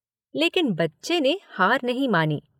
लेकिन बच्चे ने हार नहीं मानी।